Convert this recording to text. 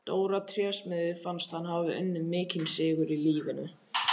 Dóra trésmiði fannst hann hafa unnið mikinn sigur í lífinu.